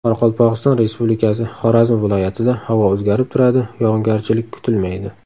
Qoraqalpog‘iston Respublikasi, Xorazm viloyatida havo o‘zgarib turadi, yog‘ingarchilik kutilmaydi.